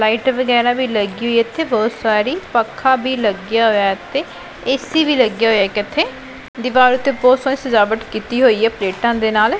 Light ਵਗੈਰਾ ਵੀ ਲੱਗੀ ਹੋਈ ਇੱਥੇ ਬਹੁਤ ਸਾਰੀ ਪੱਖਾ ਵੀ ਲੱਗਿਆ ਹੋਇਆ ਤੇ ਏ_ਸੀ ਵੀ ਲੱਗਿਆ ਹੋਇਆ ਇੱਕ ਇੱਥੇ ਪਰਿਵਾਰ ਉੱਤੇ ਬਹੁਤ ਜਿਆਦਾ ਸਜਾਵਟ ਕੀਤੀ ਹੋਈ ਹੈ ਪਲੇਟਾਂ ਦੇ ਨਾਲ।